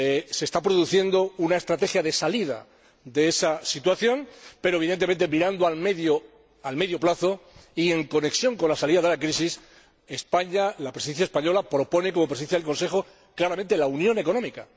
Se está produciendo una estrategia de salida de esa situación, pero, evidentemente, en una perspectiva a medio plazo y en conexión con la salida de la crisis, la Presidencia española, como Presidencia del Consejo, propone claramente la unión económica.